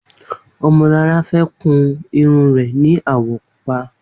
Omolara fè kùn irùn rè ni áwọ̀ púpà